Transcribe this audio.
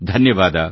ಧನ್ಯವಾದ